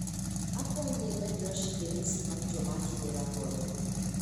Akwayi ni imed Rashid e listi mar joma atudora godo